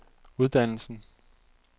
uddannelsen